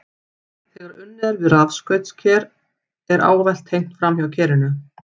Þegar unnið er við rafskaut kers er ávallt tengt framhjá kerinu.